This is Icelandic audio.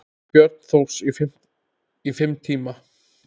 Björn Thors: Í fimm tíma?